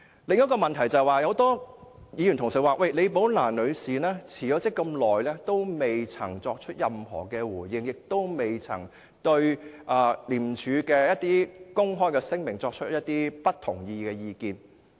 另一個問題是，多位議員指李寶蘭女士在辭職後這麼長的時間亦不曾作出任何回應，也不曾對廉署的公開聲明發表不同意的意見。